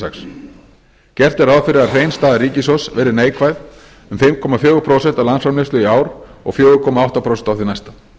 sex gert er ráð fyrir að hrein staða ríkissjóðs verði neikvæð um fimm komma fjögur prósent af landsframleiðslu í ár og fjögur komma átta prósent á því næsta